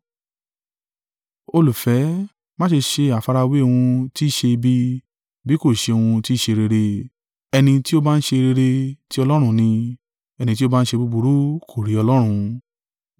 Olùfẹ́, má ṣe ṣe àfarawé ohun tí í ṣe ibi bí kò ṣe ohun tí ṣe rere. Ẹni tí ó bá ń ṣe rere ti Ọlọ́run ni; ẹni tí ó ba ń ṣe búburú kò rí Ọlọ́run.